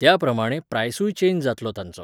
त्या प्रमाणें प्रायसूय चँज जातलो तांचो.